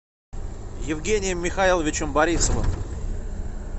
евгением михайловичем борисовым